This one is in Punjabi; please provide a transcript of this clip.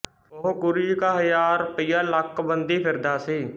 ਉਹ ਗੁਰੂ ਜੀ ਕਾ ਹਜ਼ਾਰ ਰੁਪਈਆ ਲੱਕ ਬੰਧੀ ਫਿਰਦਾ ਸੀ